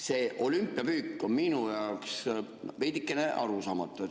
See olümpiapüük on minu jaoks veidikene arusaamatu.